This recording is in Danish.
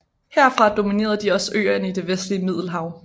Herfra dominerede de også øerne i det vestlige Middelhav